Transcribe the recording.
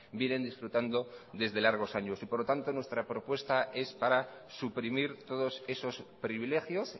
vienen disfrutando desde largos años por lo tanto nuestra propuesta es para suprimir todos esos privilegios